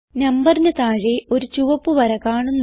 നമ്പറിന് താഴെ ഒരു ചുവപ്പ് വര കാണുന്നു